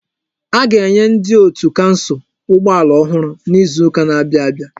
A ga-enye ndi otu kansụl ụgbọ ala ọhụrụ n'izuka n'abia abịa.